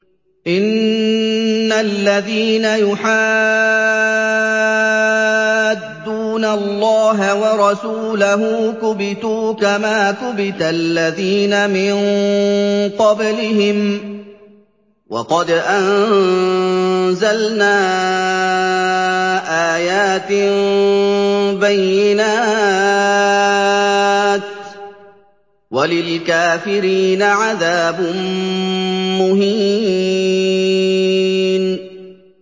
إِنَّ الَّذِينَ يُحَادُّونَ اللَّهَ وَرَسُولَهُ كُبِتُوا كَمَا كُبِتَ الَّذِينَ مِن قَبْلِهِمْ ۚ وَقَدْ أَنزَلْنَا آيَاتٍ بَيِّنَاتٍ ۚ وَلِلْكَافِرِينَ عَذَابٌ مُّهِينٌ